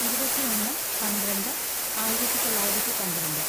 ഇരുപത്തിയൊന്ന് പന്ത്രണ്ട് ആയിരത്തിതൊള്ളായിരത്തി പന്ത്രണ്ട്